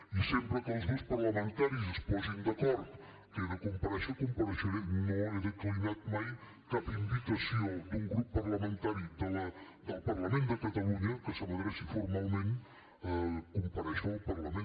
i sempre que els grups parlamentaris es posin d’acord que he de comparèixer compareixeré no he declinat mai cap invitació d’un grup parlamentari del parlament de catalunya que se m’adreci formalment a comparèixer al parlament